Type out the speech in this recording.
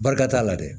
Barika t'a la dɛ